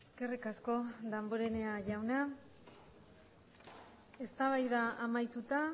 eskerrik asko damborenea jauna eztabaida amaituta